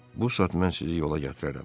Bu saat mən sizi yola gətirərəm.